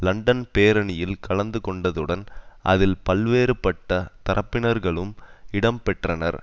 London பேரணியில் கலந்துகொண்டதுடன் அதில் பல்வேறுபட்ட தரப்பினர்களும் இடம்பெற்றனர்